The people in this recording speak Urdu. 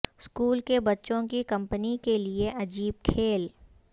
اسکول کے بچوں کی کمپنی کے لئے عجیب کھیل